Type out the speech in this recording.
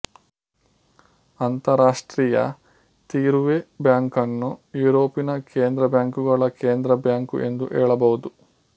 ಅಂತಾರಾಷ್ಟ್ರೀಯ ತೀರುವೆ ಬ್ಯಾಂಕನ್ನು ಯುರೋಪಿನ ಕೇಂದ್ರ ಬ್ಯಾಂಕುಗಳ ಕೇಂದ್ರಬ್ಯಾಂಕು ಎಂದು ಹೇಳಬಹುದು